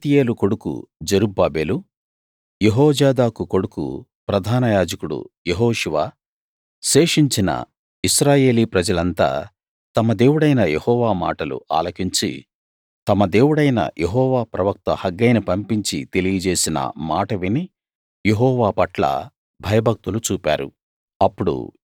షయల్తీయేలు కొడుకు జెరుబ్బాబెలు యెహోజాదాకు కొడుకు ప్రధానయాజకుడు యెహోషువ శేషించిన ఇశ్రాయేలీ ప్రజలంతా తమ దేవుడైన యెహోవా మాటలు ఆలకించి తమ దేవుడైన యెహోవా ప్రవక్త హగ్గయిని పంపించి తెలియజేసిన మాట విని యెహోవా పట్ల భయభక్తులు చూపారు